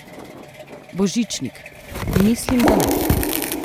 Božičnik: 'Mislim, da ne.